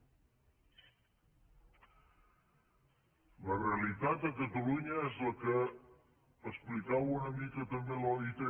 la realitat a catalunya és la que explicava una mica també l’oit